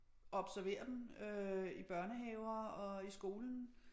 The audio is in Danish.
Observere dem øh i børnehaver og i skolen